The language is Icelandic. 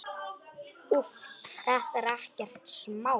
Úff, þetta er ekkert smá.